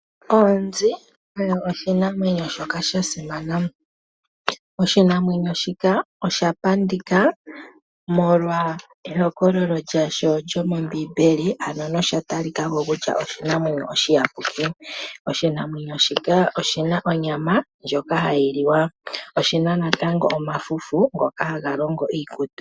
Onzi oyo oshinamwenyo shoka sha simana. Oshinamwenyo shika osha pandika molwa ehokololo lyasho lyomombiimbeli. Ano nosha talikako kutya oshinamwenyo shoka oshiyapuki. Oshinamwenyo shika oshina onyama hayi liwa. Oshina natango omafufu ngoka haga longo iikutu.